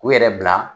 U yɛrɛ bila